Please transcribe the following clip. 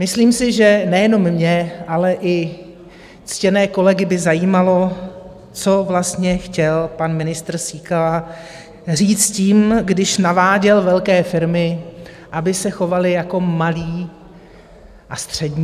Myslím si, že nejenom mě, ale i ctěné kolegy by zajímalo, co vlastně chtěl pan ministr Síkela říct tím, když naváděl velké firmy, aby se chovaly jako malé a střední.